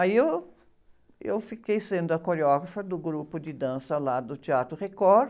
Aí eu, eu fiquei sendo a coreógrafa do grupo de dança lá do Teatro Record.